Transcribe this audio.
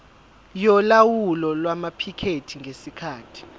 yolawulo lwamaphikethi ngesikhathi